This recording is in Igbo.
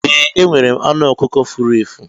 Ee, enwere m anụ ọkụkọ furu efu.